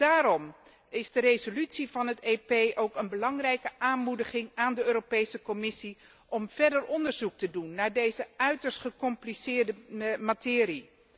Daarom is de resolutie van het EP ook een belangrijke aanmoediging aan het adres van de Europese Commissie om verder onderzoek te doen naar deze uiterst gecompliceerde materie.